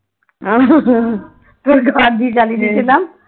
তোকে ঢপ দিয়ে চালিয়ে দিয়েছিলাম